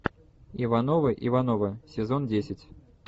ивановы ивановы сезон десять